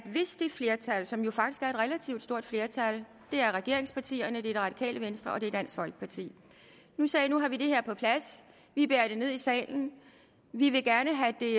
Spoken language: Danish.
flertal som jo faktisk er et relativt stort flertal det er regeringspartierne det er det radikale venstre og det er dansk folkeparti sagde nu har vi fået det her på plads vi bærer det ned i salen og vi vil gerne have det